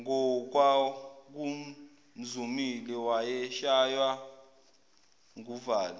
ngokwakumzumile wayeshaywa nguvalo